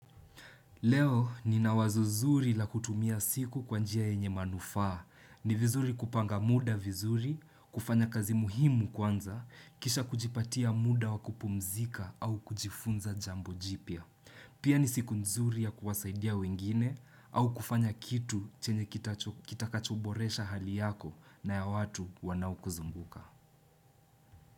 Leo ninawazo zuri la kutumia siku kwa njia yenye manufaa. Ni vizuri kupanga muda vizuri, kufanya kazi muhimu kwanza, kisha kujipatia muda wakupumzika au kujifunza jambo jipya. Pia ni siku nzuri ya kuwasaidia wengine au kufanya kitu chenye kitacho kitakachoboresha hali yako na ya watu wanaokuzunguka.